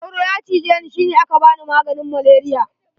Soro ya cije ni shi ne aka bani maganin malaria.